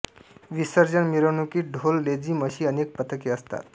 विसर्जन मिरवणुकीत ढोल लेझीम अशी अनेक पथके असतात